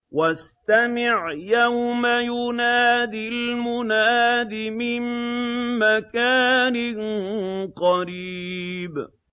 وَاسْتَمِعْ يَوْمَ يُنَادِ الْمُنَادِ مِن مَّكَانٍ قَرِيبٍ